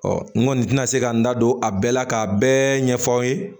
n kɔni tɛna se ka n da don a bɛɛ la k'a bɛɛ ɲɛfɔ aw ye